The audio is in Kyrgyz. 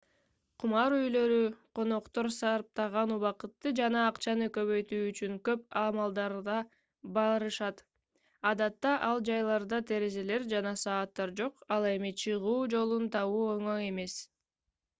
кумар үйлөрү коноктор сарптаган убакытты жана акчаны көбөйтүү үчүн көп амалдарга барышат адатта ал жайларда терезелер жана сааттар жок ал эми чыгуу жолун табуу оңой эмес